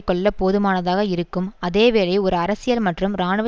கொல்ல போதுமானதாக இருக்கும் அதேவேளை ஒரு அரசியல் மற்றும் இராணுவ